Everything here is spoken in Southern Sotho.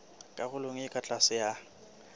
karolong e ka tlase ya